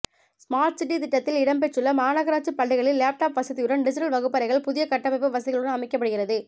smart city திட்டத்தில் இடம்பெற்றுள்ள மாநகராட்சி பள்ளிகளில் லேப்டாப் வசதியுடன் டிஜிட்டல் வகுப்பறைகள் புதிய கட்டமைப்பு வசதிகளுடன் அமைக்கப்படுகிறது